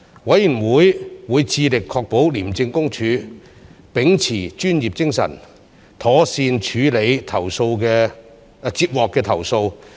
委員會會致力確保廉政公署秉持專業精神，妥善處理接獲的投訴。